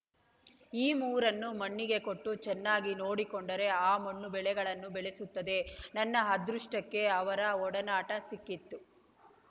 ಈ ಮೂರನ್ನು ಮಣ್ಣಿಗೆ ಕೊಟ್ಟು ಚೆನ್ನಾಗಿ ನೋಡಿಕೊಂಡರೆ ಆ ಮಣ್ಣು ಬೆಳೆಗಳನ್ನು ಬೆಳೆಸುತ್ತದೆ ನನ್ನ ಅದೃಷ್ಟಕ್ಕೆ ಅವರ ಒಡನಾಟ ಸಿಕ್ಕಿತು